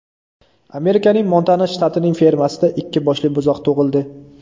Amerikaning Montana shtatining fermasida ikki boshli buzoq tug‘ildi.